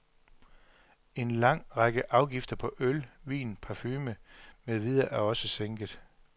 En lang række afgifter på øl, vin, parfume med videre er også sænket.